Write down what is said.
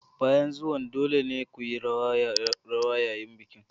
Bayan zuwan dole ne ku yi rawa yayin bikin.